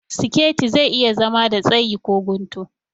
Siketi zai iya zama da tsayi ko guntu